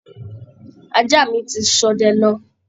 Ajá mi ti ṣọdẹ lọ